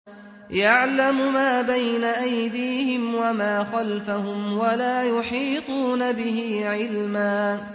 يَعْلَمُ مَا بَيْنَ أَيْدِيهِمْ وَمَا خَلْفَهُمْ وَلَا يُحِيطُونَ بِهِ عِلْمًا